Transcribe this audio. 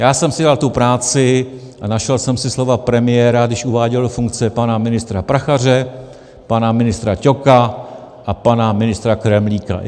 Já jsem si dal tu práci a našel jsem si slova premiéra, když uváděl do funkce pana ministra Prachaře, pana ministra Ťoka a pana ministra Kremlíka.